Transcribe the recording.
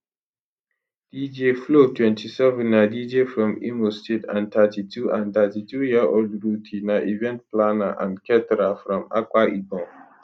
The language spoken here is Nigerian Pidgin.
dj flo 27 na dj from imo state and 32 and 32 year old ruthee na event planner and caterer from akwa ibom